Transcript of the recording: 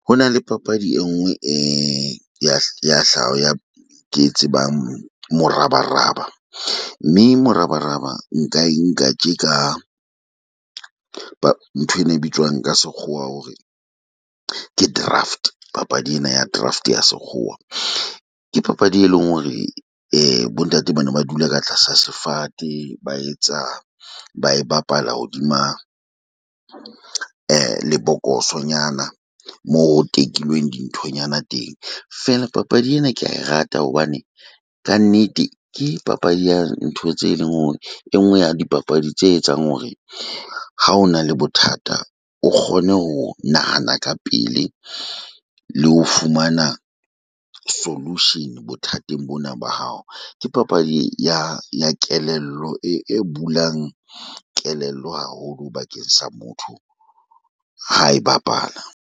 Ho na le papadi e nngwe e ya ya ya ke e tsebang morabaraba mme morabaraba nka e nka tje ka nthwena e bitswang ka sekgowa hore ke draft. Papadi ena ya draft ya sekgowa ke papadi, e leng hore bo ntate ba ne ba dula ka tlasa sefate, ba etsa ba e bapala hodima lebokosonyana mo ho tekilweng dinthonyana teng. Feela papadi ena ke a e rata hobane ka nnete ke papadi ya ntho tse leng hore e nngwe ya dipapadi tse etsang hore, ha o na le bothata o kgone ho nahana ka pele le ho fumana solution bothateng bona ba hao. Ke papadi ya ya kelello e e bulang kelello haholo bakeng sa motho ha e bapala.